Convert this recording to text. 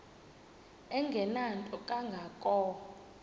engenanto kanga ko